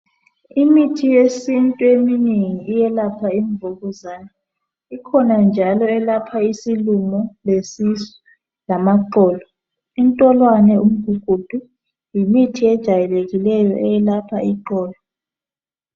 Imithi yesintu eminengi iyelapha imvukuzane. Ikhona njalo eyelapha isilumo, lesisu ngamaxolo. Intolwane lomgugudu yimithi ejwayelekileyo eyelapha iqolo.